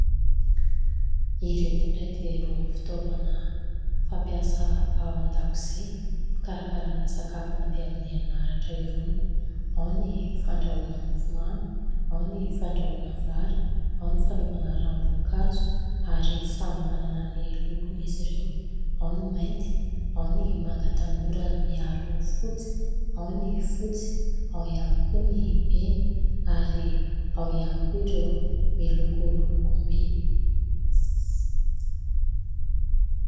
Ireto indray dia irony fitaovana fampiasa ao an-dakozia fikarakarana sakafo mandeha amin'ny herinaratra irony, ao ny fandrahoana mofomamy, ao ny fandrahoana vary, ao ny fanaovana ranom-boankazo ary samy manana ny lokony izy ireo : ao ny mainty, ao ny manga tanora miaro fotsy, ao ny fotsy, ao ihany koa ny mena ary ao ihany koa ireo miloko lokom-by.